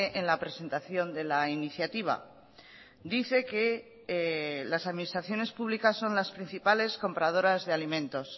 en la presentación de la iniciativa dice que las administraciones públicas son las principales compradoras de alimentos